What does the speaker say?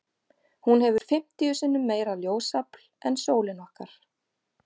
Hún hefur fimmtíu sinnum meira ljósafl en sólin okkar.